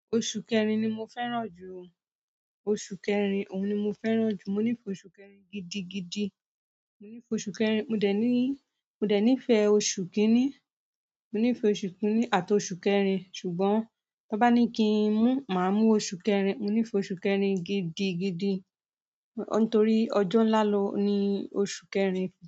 Oṣù kẹrin ni mo fẹ́ràn jù o. Oṣù kẹrin, òun ni mo fẹ́ràn jù. Mo nífẹ̀ẹ́ oṣù kẹrin gidigidi. Mo nífẹ̀ẹ́ oṣù kẹrin. Mò dẹ̀ ní, mò dẹ̀ nífẹ̀ẹ́ oṣù kìíní. Mo nífẹ̀ẹ́ oṣù kìíní àti oṣù kẹrin. Ṣùgbọ́n, tan bá ní kí ń mú, màá mú oṣù kẹrin. Mo nífẹ̀ẹ́ oṣù kẹrin gidigidi. Nítorí ọjọ́ ńlá ní oṣù kẹrin.